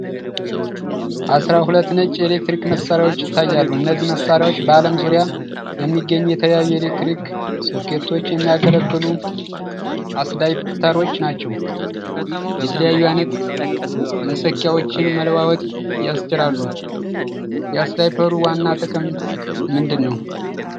አሥራ ሁለት ነጭ የኤሌክትሪክ መሣሪያዎች ይታያሉ። እነዚህ መሣሪያዎች በአለም ዙሪያ ለሚገኙ የተለያዩ የኤሌክትሪክ ሶኬቶች የሚያገለግሉ አስዳፕተሮች ናቸው። የተለያዩ አይነት መሰኪያዎችን መለዋወጥ ያስችላሉ። የአስዳፕተሩ ዋና ጥቅም ምንድን ነው?